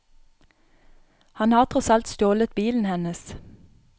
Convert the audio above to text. Han har tross alt stjålet bilen hennes.